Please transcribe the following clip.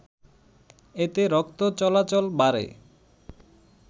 এতে রক্ত চলাচল বাড়ে